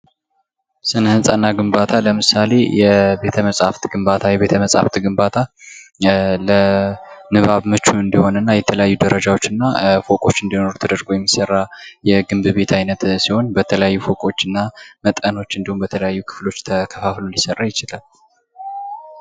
ስነህንጻ እና ግንባታ ለምሳሌ የቤተመጽሃፍት ግንባታ፤ የቤተመጽሃፍት ግንባታ ለንባብ ምቹ እንዲሆን እና የተለያዩ ደረጃዎች እና ፎቆች እንዲኖሩት ተደርጎ የሚሰራ የግንብ ቤት አይነት ሲሆን በተከያዩ ፎቆች እና መጠኖች እንዲሁም በተለያዩ ክፍሎች ተከፋፍሎ ሊሰራ ይችላል።